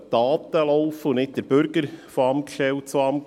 Die Daten sollen laufen, und nicht der Bürger von Amtsstelle zu Amtsstelle.